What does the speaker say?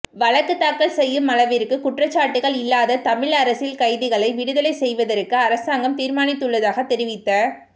வழக்கு தாக்கல் செய்யும் அளவிற்கு குற்றச்சாட்டுக்கள் இல்லாத தமிழ் அரசியல் கைதிகளை விடுதலை செய்வதற்கு அரசாங்கம் தீர்மானித்துள்ளதாக தெரிவித்த